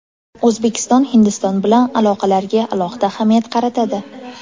O‘zbekiston Hindiston bilan aloqalarga alohida ahamiyat qaratadi.